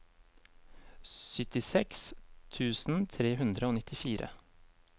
syttiseks tusen tre hundre og nittifire